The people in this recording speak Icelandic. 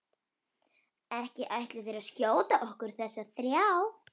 Ekki ætlið þér að skjóta okkur þessa þrjá?